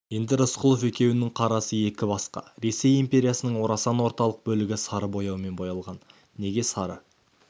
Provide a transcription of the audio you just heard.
енді рысқұлов екеуінің қарасы екі басқа ресей империясының орасан отарлық бөлігі сары бояумен боялған неге сары